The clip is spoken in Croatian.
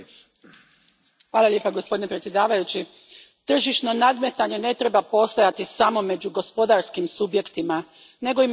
Gospodine predsjedniče, tržišno nadmetanje ne treba postojati samo među gospodarskim subjektima, nego i među državama članicama.